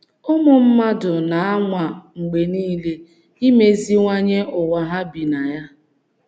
Ụmụ mmadụ na - anwa mgbe nile imeziwanye ụ́wa ha bi na ya.